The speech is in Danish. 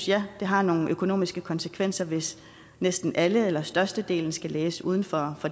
ja det har nogle økonomiske konsekvenser hvis næsten alle eller størstedelen skal læse uden for